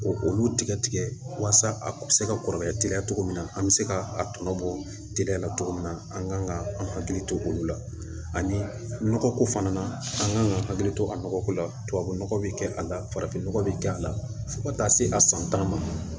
Ko olu tigɛ tigɛ walasa a bɛ se ka kɔrɔbaya teliya cogo min na an bɛ se ka a tɔnɔ bɔ teriya la cogo min na an kan ka an hakili to olu la ani nɔgɔko fana na an kan ka hakili to a nɔgɔko la tubabu nɔgɔ bɛ kɛ a la farafin nɔgɔ bɛ kɛ a la fo ka taa se a san tan ma